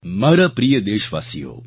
મારા પ્રિય દેશવાસીઓ